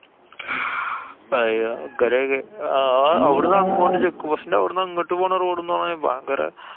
അങ്ങനെ അങ്ങ്. ആ അവുടന്നങ്ങോട്ട്‌ check post ന്‍റെ അവുടന്നങ്ങോട്ടു പോണ road ന്നു പറഞ്ഞു കഴിഞ്ഞാല്‍ ഭയങ്കര